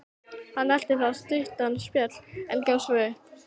Hann elti þá stuttan spöl, en gafst svo upp.